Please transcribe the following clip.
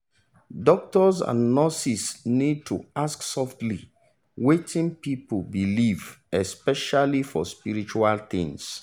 doctors and nurses need to ask softly about wetin people believe especially for spiritual things.